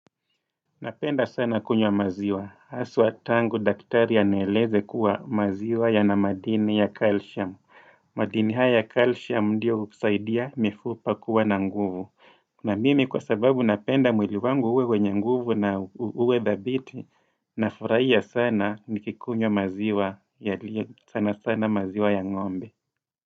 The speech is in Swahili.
Napenda sana kunywa maziwa. Haswa tangu daktari anieleze kuwa maziwa yana madini ya calcium. Madini haya ya calcium ndio husaidia mifupa kuwa na nguvu. Na mimi kwa sababu napenda mwili wangu uwe wenye nguvu na uwe dhabiti, nafurahia sana nikikunywa maziwa sana sana maziwa ya ng'ombe.